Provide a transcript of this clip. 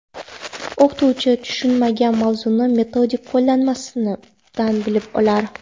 O‘qituvchi tushunmagan mavzuni metodik qo‘llanmasidan bilib olar.